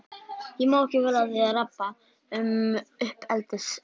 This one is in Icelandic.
Ég má ekki vera að því að rabba um uppeldisfræði.